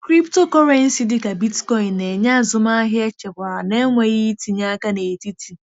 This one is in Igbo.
Cryptocurrency dị ka Bitcoin na-enye azụmahịa echekwara na-enweghị itinye aka n'etiti.